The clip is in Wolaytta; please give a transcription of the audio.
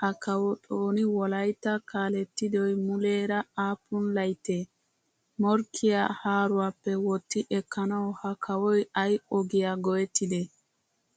Ha kawo xooni wolaytta kaalettidoy mulera appun laytte? Morkkiyaa haaruwappe wotti ekkanawu ha kawoy ay ogiya go'ettide?